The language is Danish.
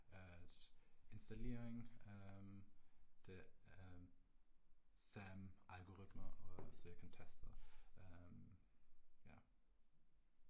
At installering øh det øh samme algoritme og så jeg kan teste og øh ja